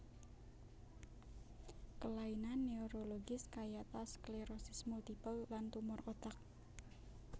Kelainan neurologis kayata sklerosis multipel lan tumor otak